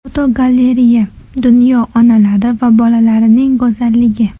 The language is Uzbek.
Fotogalereya: Dunyo onalari va bolalarining go‘zalligi.